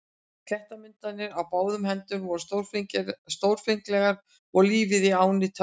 Klettamyndanir á báðar hendur voru stórfenglegar og lífið í ánni töfrandi.